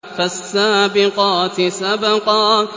فَالسَّابِقَاتِ سَبْقًا